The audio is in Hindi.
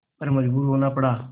पर मजबूर होना पड़ा